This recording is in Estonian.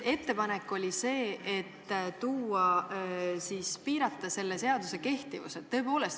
Ettepanek oli selle seaduse kehtivust piirata.